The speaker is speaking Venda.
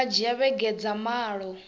nga dzhia vhege dza malo